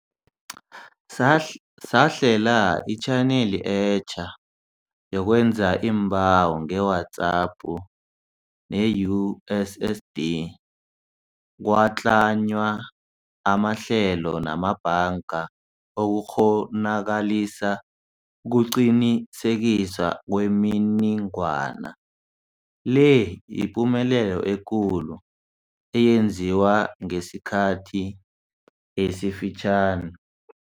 Sahlela itjhaneli etja yokwenza iimbawo ngeWhatsApp ne-USSD, kwatlanywa amahlelo namabhanga ukukghonakalisa ukuqinisekiswa kwemininingwana. Le yipumelelo ekulu eyenziwe ngesikhathi esifitjha